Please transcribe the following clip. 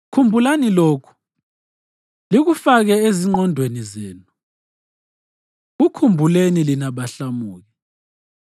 Khumbulani lokhu, likufake ezingqondweni zenu, kukhumbuleni lina bahlamuki.